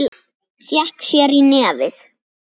Fékk sér í nefið.